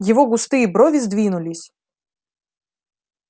его густые брови сдвинулись